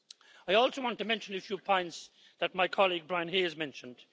I also want to mention a few points that my colleague Brian Hayes mentioned.